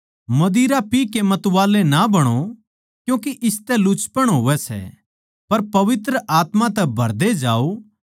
दारु पी कै मतवाले ना बणो क्यूँके इसतै लुचपण होवै सै पर पवित्र आत्मा तै भरदे जाओ